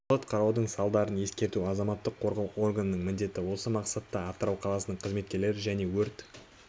салғырт қараудың салдарын ескерту азаматтық қорғау органының міндеті осы мақсатта атырау қаласының қызметкерлері және өрт